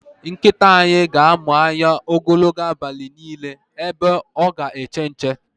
Nkịta anyị ga amụ anya ogologo abalị niile ebe ọ ga eche nche